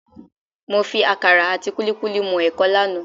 Mo fi àkàrà àti kúlíkúlí mú ẹ̀kọ lánàá